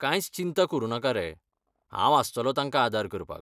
कांयच चिंता करूं नाकारे, हांव आसतलों तांकां आदार करपाक.